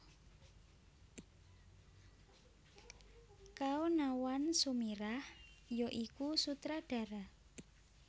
Kaonawan Sumirah ya iku Sutradara